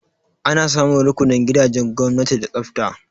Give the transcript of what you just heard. Ana samun rukunin gidajen gwamnati da tsafta.